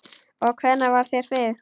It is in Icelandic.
Og hvernig varð þér við?